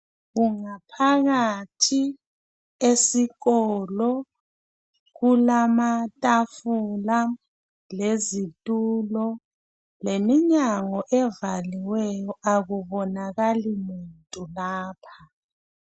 Phakathi esikolo kulamatafula lezitulo leminyango evaliweyo akubonakali muntu lapha.